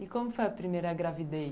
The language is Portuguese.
E como foi a primeira gravidez?